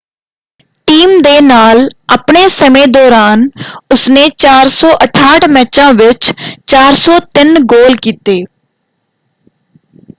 Team ਦੇ ਨਾਲ ਆਪਣੇ ਸਮੇਂ ਦੌਰਾਨ ਉਸਨੇ 468 ਮੈਚਾਂ ਵਿੱਚ 403 ਗੋਲ ਕੀਤੇ।